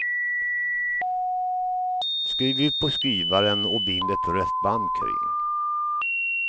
Skriv ut på skrivaren och bind ett rött band kring.